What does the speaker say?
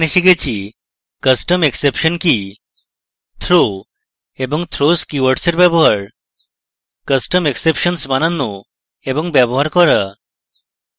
এখানে শিখেছি: custom exception কি এবং throw এবং throws keywords in ব্যবহার custom exceptions বানানো এবং ব্যবহার করা